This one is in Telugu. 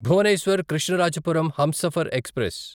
భువనేశ్వర్ కృష్ణరాజపురం హంసఫర్ ఎక్స్ప్రెస్